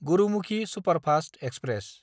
Gurumukhi superfast express